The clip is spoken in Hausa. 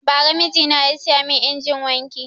Bara mijina ya siya mun injinin wanki